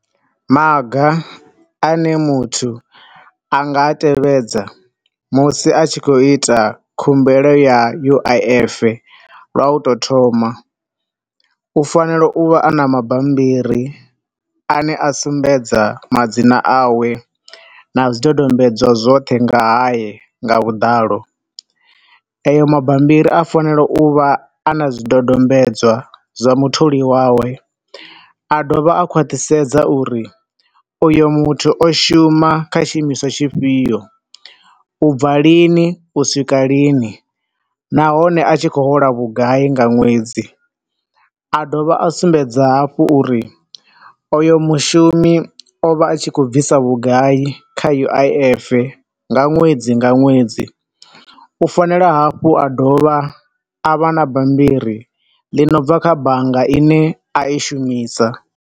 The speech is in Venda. Maga ane muthu a nga tevhedza musi a tshi khou ita khumbelo ya U_I_F lwa u to thoma, u fanela u vha a na mabambiri a ne a sumbedza madzina a we na zwidodombedzwa zwoṱhe nga haye nga vhuḓalo. Eyo mabambiri a fanela u vha ana zwidodombedzwa zwa mutholi wawe, a dovha u khaṱhisedza uri oyo muthu o shuma kha tshi imiswa tshi fhio, u bva lini u swika lini, nahone a tshi khou hola vhugai nga ṅwedzi. A dovha a sumbedza hafhu uri oyo mushumi o vha a tshi khou bvisa vhugai kha U_I_F nga ṅwedzi nga ṅwedzi, u fanela hafhu a dovha a vha bambiri li no bva kha bannga ine a i shumisa.